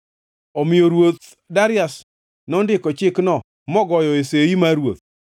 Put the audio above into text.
Omiyo ruoth Darius nondiko chikno mogoyoe sei mar ruoth.